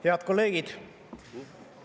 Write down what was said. Head kolleegid!